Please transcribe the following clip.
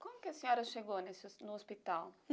Como que a senhora chegou nesse no hospital?